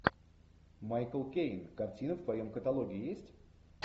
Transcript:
майкл кейн картина в твоем каталоге есть